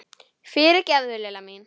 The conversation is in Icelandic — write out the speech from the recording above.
Fyrirgefðu, Lilla mín!